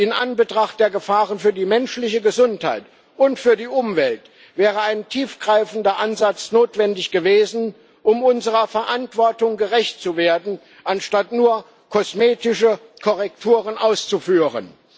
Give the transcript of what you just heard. In Anbetracht der Gefahren für die menschliche Gesundheit und für die Umwelt wäre ein tiefgreifender Ansatz notwendig gewesen, um unserer Verantwortung gerecht zu werden, anstatt nur kosmetische Korrekturen auszuführen.